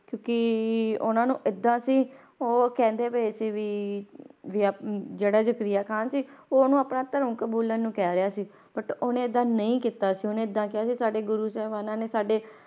ਕਿਉਂਕਿ ਉਹਨਾਂ ਨੂੰ ਏਦਾਂ ਸੀ ਉਹ ਕਹਿੰਦੇ ਪਏ ਸੀ ਵੀ ਵੀ ਆ~ ਜਿਹੜਾ ਜ਼ਕਰੀਆ ਖ਼ਾਨ ਸੀ ਉਹ ਉਹਨੂੰ ਆਪਣਾ ਧਰਮ ਕਬੂਲਣ ਨੂੰ ਕਹਿ ਰਿਹਾ ਸੀ but ਉਹਨੇ ਏਦਾਂ ਨਹੀਂ ਕੀਤਾ ਸੀ ਉਹਨੇ ਏਦਾਂ ਕਿਹਾ ਸੀ ਸਾਡੇ ਗੁਰੂ ਸਾਹਿਬਾਨਾਂ ਨੇ ਸਾਡੇ